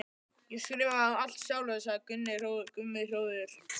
Ég skrifaði það allt sjálfur, sagði Gunni hróðugur.